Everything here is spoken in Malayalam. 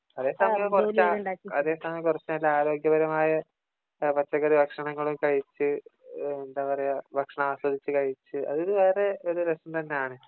അതേ സമയം കുറച്ചു നല്ല ആരോഗ്യപരമായ പച്ചക്കറി ഭക്ഷണങ്ങള് കഴിച്ച് എന്താ പറയാ ഭക്ഷണം ആസ്വതിച്ച് കഴിച്ച് അതൊരു വേറെ ഒരു രസം തന്നെയാണ്